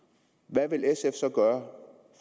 hvad vil sf så gøre